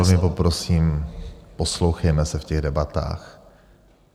Já velmi poprosím, poslouchejme se v těch debatách.